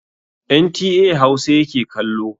NTA Hausa yake kallo.